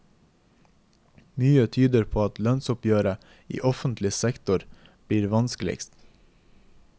Mye tyder på at lønnsoppgjøret i offentlig sektor blir vanskeligst.